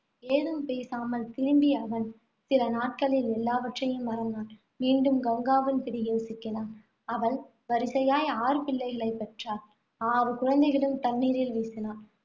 ஏதும் பேசாமல் திரும்பிய அவன், சில நாட்களில் எல்லாவற்றையும் மறந்தான். மீண்டும் கங்காவின் பிடியில் சிக்கினான். அவள் வரிசையாய் ஆறு பிள்ளைகளைப் பெற்றாள். ஆறு குழந்தைகளையும் தண்ணீரில் வீசினாள்.